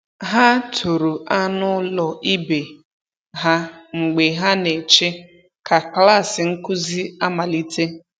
Ha toro anụ ụlọ ibe ha mgbe ha na-eche ka klas nkuzi amalite.